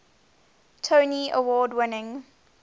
tony award winning